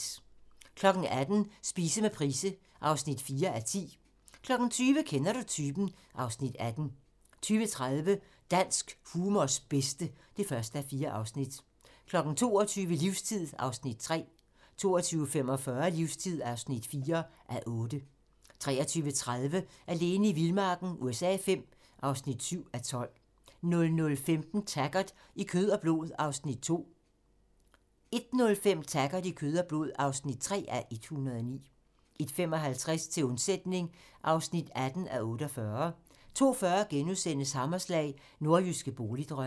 18:00: Spise med Price (4:10) 20:00: Kender du typen? (Afs. 18) 20:30: Dansk humors bedste (1:4) 22:00: Livstid (3:8) 22:45: Livstid (4:8) 23:30: Alene i vildmarken USA V (7:12) 00:15: Taggart: I kød og blod (2:109) 01:05: Taggart: I kød og blod (3:109) 01:55: Til undsætning (18:48) 02:40: Hammerslag - Nordjyske boligdrømme *